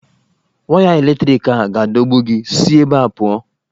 Waya eletriki a ga-adọgbu gị, si ebe ahụ pụọ!